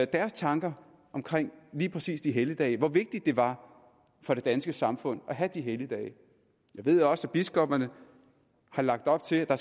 deres tanker omkring lige præcis de helligdage altså hvor vigtigt det var for det danske samfund at have de helligdage jeg ved også at biskopperne har lagt op til at der